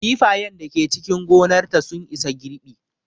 Kifayen da Ke cikin gonar ta sun isa girɓi